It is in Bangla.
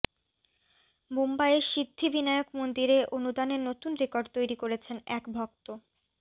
মুম্বাইয়ের সিদ্ধিবিনায়ক মন্দিরে অনুদানের নতুন রেকর্ড তৈরি করেছেন এক ভক্ত